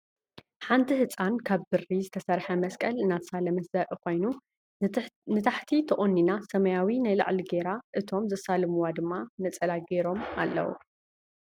ሓንቲ ህፃን ካብ ብሪ ዝተሰረሐ መስቀል እናተሳለመት ዘርኢ ኮይኑ ንታሕቲ ተቆኒና ሰማያዊ ናይ ላዕሊ ጌራ እቶም ዘሳልምዋ ድማ ነፀላ ጌሮም ኣለዉ ።